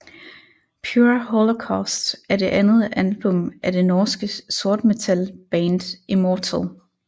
Pure Holocaust er det andet album af det norske sortmetalband Immortal